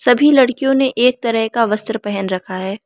सभी लड़कियों ने एक तरह का वस्त्र पहन रखा है।